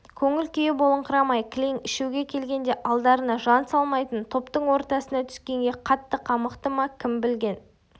көңіл күйі болыңқырамай кілең ішуге келгенде алдарына жан салмайтын топтың ортасына түскенге қатты қамықты ма кім білген